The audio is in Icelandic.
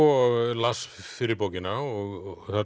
las fyrri bókina og